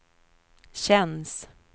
känns